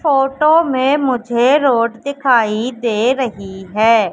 Photo में मुझे road दिखाई दे रही है।